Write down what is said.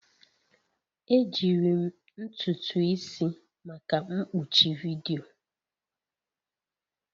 Ejiri m ntutu isi maka mkpuchi vidiyo